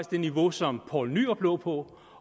det niveau som poul nyrup lå på